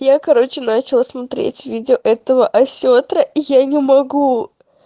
я короче начала смотреть видео этого осетра я не могу